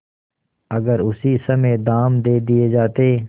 अगर उसी समय दाम दे दिये जाते